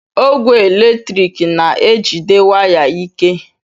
Ogwe eletrik na-ejide waya ike